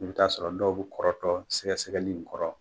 I bɛ taa'a sɔrɔ dɔw be kɔrɔtɔ sɛgɛsɛgɛli in kɔrɔ